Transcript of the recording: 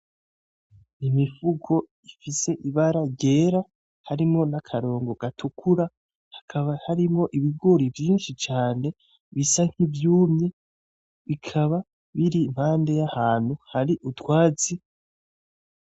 Imifuko ifise ibara ryera harimwo n'akarongo gatukura hakaba harimwo ibigori vyishi cane bisa nki’vyumye bikaba biri impande y'ahantu hari utwatsi.